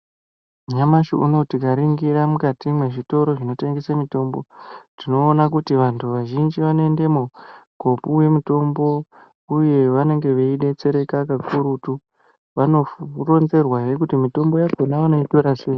Nyamashi unou tikaningira mukati mezvitoro zvinotengesa mitombo tinoona kuti vanhu vazhinji vanoendamo kopuwa mutombo uye vanenge veidetsereka kakurutu vanoronzerwazve kuti mitombo yakona vanoitora sei